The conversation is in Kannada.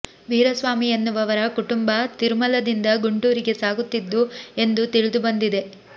ವೀರಸ್ವಾಮಿ ಎನ್ನುವವರ ಕುಟುಂಬ ತಿರುಮಲದಿಂದ ಗುಂಟೂರಿಗೆ ಸಾಗುತ್ತಿದ್ದು ಎಂದು ತಿಳಿದು ಬಂದಿದೆ